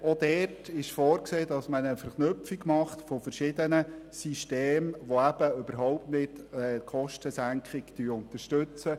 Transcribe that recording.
Auch dort ist eine Verknüpfung verschiedener Systeme vorgesehen, welche die Kostensenkung überhaupt nicht unterstützen.